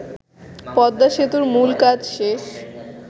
পদ্মাসেতুর মূল কাজ শেষ